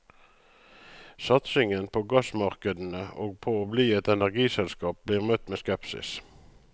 Satsingen på gassmarkedene og på å bli et energiselskap blir møtt med skepsis.